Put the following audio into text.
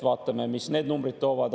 Vaatame, mis need numbrid toovad.